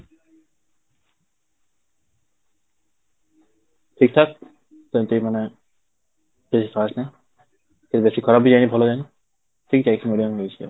ଠିକ ଠାକ, ସେମିତି ମାନେ ବେଶୀ ଖାସ ନାହିଁ, କି ବେଶୀ ଖରାପ ବି ଯାଇନି ଭଲ ଯାଇନି ଠିକ ଯାଇଛି medium ଯାଇଛି ଆଉ